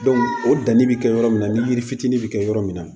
o danni bɛ kɛ yɔrɔ min na ni yiri fitinin bɛ kɛ yɔrɔ min na